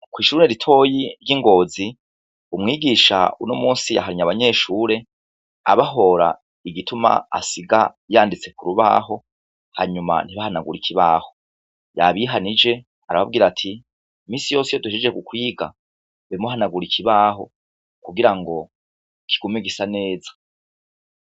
Kw'ishure ritoyi ry'i Ngozi, uyu munsi umwigisha yahanye abanyeshure abahora igituma asiga yanditse ku rubaho hanyuma ntibahanagure ikibaho. Yabihanije arababwira ati " iminsi yose iyo duhejeje kwiga, be muhanagura ikibaho, kugira ngo kigume gisa neza".